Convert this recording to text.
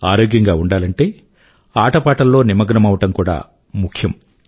ఆరోగ్యంగా ఉండాలంటే ఆటపాటల్లో నిమగ్నమవ్వడం కూడా ముఖ్యం